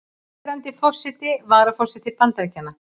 Núverandi forseti og varaforseti Bandaríkjanna.